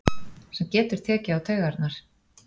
Sem getur tekið á taugarnar.